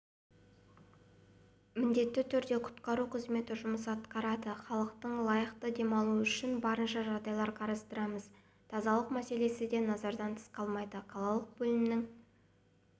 міндетті түрде құтқару қызметі жұмыс атқарады халықтың лайықты демалуы үшін барынша жағдайлар қарастырамыз тазалық мәселесі де назардан тыс қалмайды қалалық бөлімінің